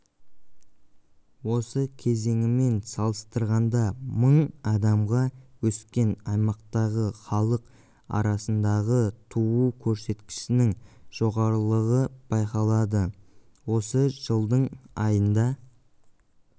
осы кезеңімен салыстырғанда мың адамға өскен аймақтағы халық арасындағытуу көрсеткішінің жоғарылығы байқалады осы жылдың айында